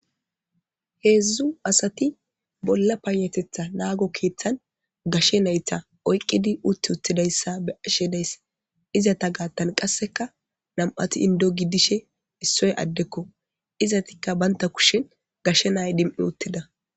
heedzdzu asati bolla panatetha naago keeththan gashe naytha oyqqidi utti uttidayssa be ashedays izata gaattan qasseka nam7ati indo gi dishe issoy addekko izatikka baynta kushen gashe nay dim7i uttida